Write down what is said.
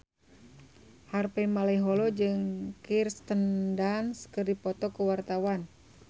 Harvey Malaiholo jeung Kirsten Dunst keur dipoto ku wartawan